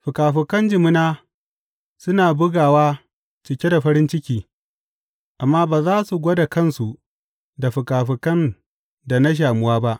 Fikafikan jimina suna bugawa cike da farin ciki amma ba za su gwada kansu da fikafikan da na shamuwa ba.